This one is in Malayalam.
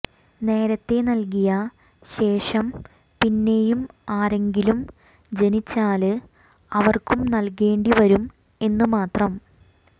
നേരത്തെ നല്കിയ ശേഷം പിന്നെയും ആരെങ്കിലും ജനിച്ചാല് അവര്ക്കും നല്കേണ്ടി വരും എന്ന് മാത്രം